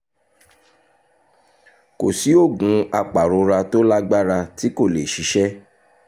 kò sí oògùn apàrora tó lágbára tí kò lè ṣiṣẹ́